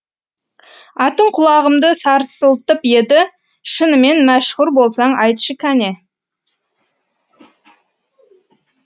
атың құлағымды сарсылтып еді шынымен мәшһүр болсаң айтшы кәне